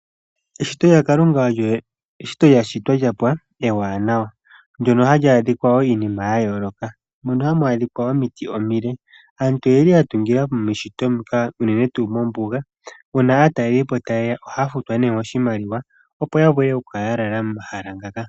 Eshito lya Kalunga olyo eshito lya shitwa lyapwa ewanawa, ndono hali adhikwa wo iinima ya yooloka. Mono hamu adhika omiti omile, aantu oyeli ya tungila meshito muka unene tuu mombuga. Uuna aatalelipo taye ya ohaya futwa nee oshimaliwa opo ya vule okukala ya lala momahala ngaka.